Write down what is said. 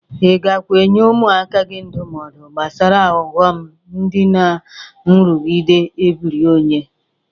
Ị gakwa enye ụmụaka gị ndụmọdụ gbasara ụghọm dị na nrụgide ebiri onye?